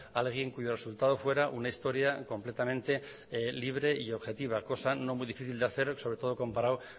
a alguien cuyo resultado fuera una historia completamente libre y objetiva cosa no muy difícil de hacer sobre todo comparado